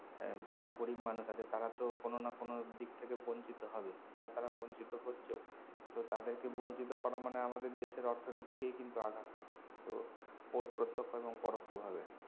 এর যারা গরীব মানুষ আছে তারা তো কোনো না কোনো দিক থেকে বঞ্চিত হবে বা তারা বঞ্চিত হচ্ছেও তো তাদেরকে বঞ্চিত করা মানে আমাদের দেশের অর্থনীতিকেই কিন্তু আঘাত হানা তো পত~প্রত্যক্ষ এবং পরোক্ষ ভাবে